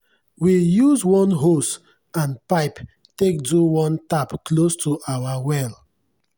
we use one hose and pipie take do one tap close to our well.